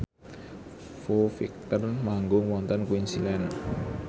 Foo Fighter manggung wonten Queensland